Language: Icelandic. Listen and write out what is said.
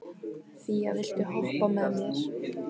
Fía, viltu hoppa með mér?